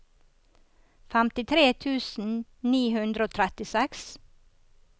femtitre tusen ni hundre og trettiseks